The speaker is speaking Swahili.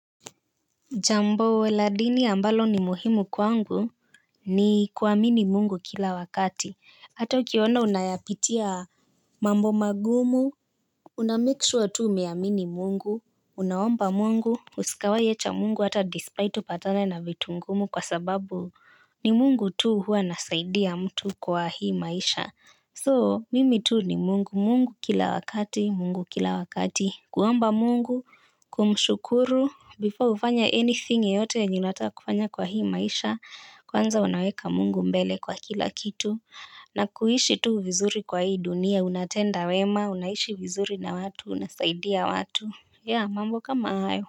Jambo la dini ambalo ni muhimu kwangu ni kuamini mungu kila wakati. Hata ukiona unayapitia mambo magumu, una make sure tu umeamini mungu, unaomba mungu, usikawahi acha mungu hata despite upatane na vitu ngumu kwa sababu ni mungu tu huwa anasaidia mtu kwa hii maisha. So mimi tu ni mungu mungu kila wakati mungu kila wakati kuomba mungu kumshukuru before ufanye anything yoyote yenye unataka kufanya kwa hii maisha kwanza unaweka mungu mbele kwa kila kitu na kuishi tu vizuri kwa hii dunia unatenda wema unaishi vizuri na watu unasaidia watu ya mambo kama hayo.